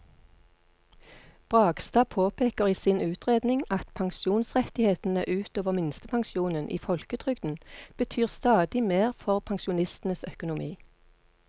Bragstad påpeker i sin utredning at pensjonsrettighetene ut over minstepensjonen i folketrygden betyr stadig mer for pensjonistenes økonomi.